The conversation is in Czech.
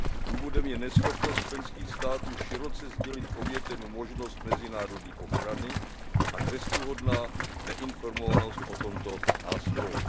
Důvodem je neschopnost členských států široce sdělit obětem možnost mezinárodní ochrany a trestuhodná neinformovanost o tomto nástroji.